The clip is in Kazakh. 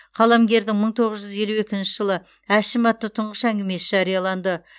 қаламгердің мың тоғыз жүз елу екінші жылы әшім атты тұңғыш әңгімесі жарияланды